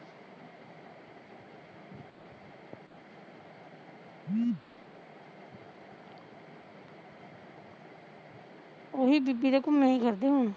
ਓਹੀ ਬੀਬੀ ਦੇ ਘੁਮਿਆ ਈ ਕਰਦੇ ਹੁਣ